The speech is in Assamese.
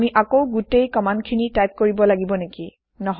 আমি আকৌ গোটেই কম্মান্দখিনি টাইপ কৰিব লাগিব নেকি